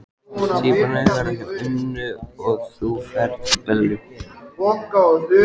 Tvíburarnir verða hjá Önnu og þú ferð til Bellu.